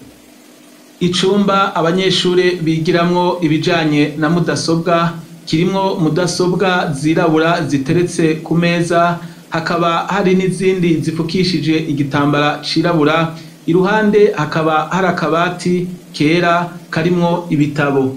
Icumba abanyeshure bigiramwo ibijanye na mudasobwa kirimwo mudasobwa zirabura ziteretse ku meza hakaba hari n'izindi zifukishije igitambara cirabura i ruhande hakaba har akabati kera karimwo ibitabo.